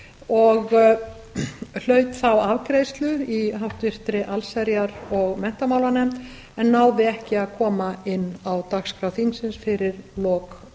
og hlaut þá afgreiðslu í háttvirtri allsherjar og menntamálanefnd en náði ekki að koma inn á dagskrá þingsins fyrir lok